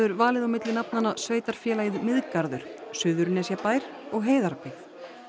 valið á milli nafnanna Sveitarfélagið Miðgarður Suðurnesjabær og Heiðarbyggð